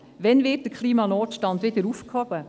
Wann wird der Klimanotstand wieder aufgehoben?